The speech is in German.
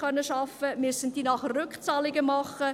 Da ist die Zahl 4755.